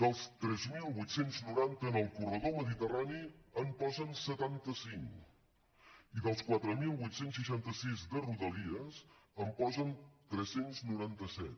dels tres mil vuit cents i noranta en el corredor mediterrani en posen setanta cinc i dels quatre mil vuit cents i seixanta sis de rodalies en posen tres cents i noranta set